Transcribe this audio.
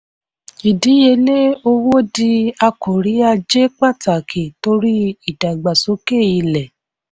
ìdíyelé owó di akòrí ajé pàtàkì torí ìdàgbàsókè ilẹ̀.